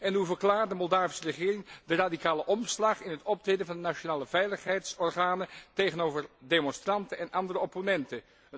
En hoe verklaart de Moldavische regering de radicale omslag in het optreden van de nationale veiligheidsorganen tegenover demonstranten en andere opponenten?